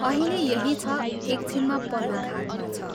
अहिले यही छ एक छिनमा पल्लो घाटमा छ।